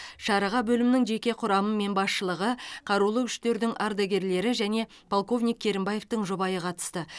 шараға бөлімнің жеке құрамы мен басшылығы қарулы күштердің ардагерлері және полковник керімбаевтің жұбайы қатысты